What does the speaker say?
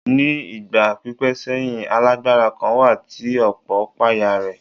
Ní ìgbà pípẹ́ sẹ́yìn, alágbára kan wà tí ọ̀pọ̀ páyà rẹ̀.